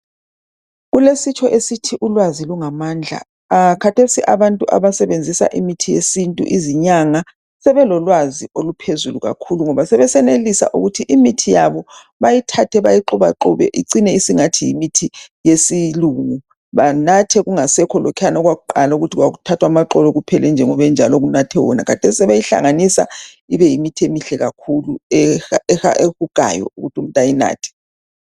Kulesitsho esithi ulwazi lungamandla, khathesi abantu abasebenzisa imithi yesintu, izinyanga sebelolwazi oluphezulu kakhulu ngoba sebesenelisa ukuthi imithi yabo bayithathe bayixubaxube icine isingathi yimithi yesilungu, banathe kungasekho lokhuyana okwakuqala ukuthi kwakuthathwa amaxolo kuphela njengoba enjalo kunathwe wona, khathesi sebeyihlanganisa ibe yimithi emihle kakhulu, ebukayo ukuthi bayinathe.